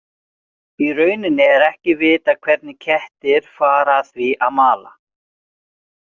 Í rauninni er ekki vitað hvernig kettir fara að því að að mala.